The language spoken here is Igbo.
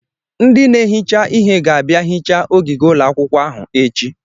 Ndị na-ehicha ihe ga-abịa hichaa ogige ụlọakwụkwọ ahụ echi.